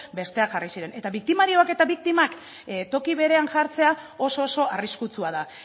besteak jarri ziren eta biktimarioak eta biktimak toki berean jartzea oso oso arriskutsua da